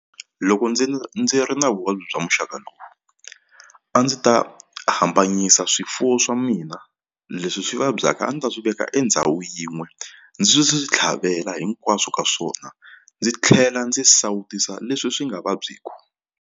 Loko ndzi ndzi ri na vuvabyi bya muxaka lowu a ndzi ta hambanyisa swifuwo swa mina leswi swi vabyaka a ndzi ta swi veka endhawu yin'we ndzi swi swi swi tlhavela hinkwaswo ka swona ndzi tlhela ndzi sawutisa leswi swi nga vabyiki.